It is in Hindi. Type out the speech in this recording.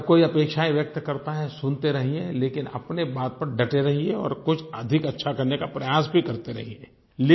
हर कोई अपेक्षायें व्यक्त करता है सुनते रहिये लेकिन अपनी बात पर डटे रहिये और कुछ अधिक अच्छा करने का प्रयास भी करते रहिये